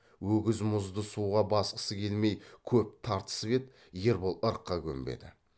өгіз мұзды суға басқысы келмей көп тартысып еді ербол ырыққа көнбеді